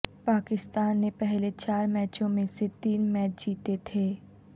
پاکستان نے پہلے چار میچوں میں سے تین میچ جیتے تھے